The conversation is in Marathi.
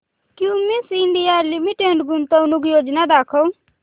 क्युमिंस इंडिया लिमिटेड गुंतवणूक योजना दाखव